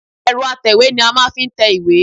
Ẹ̀rọ atẹ̀wé ni a máa ń fi tẹ iwé